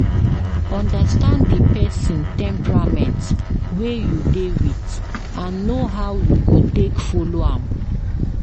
understand di persin temperament wey you de with and know how you go take follow am